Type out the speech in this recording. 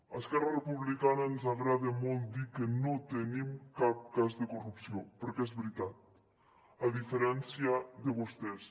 a esquerra republicana ens agrada molt dir que no tenim cap cas de corrupció perquè és veritat a diferència de vostès